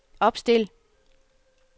opstil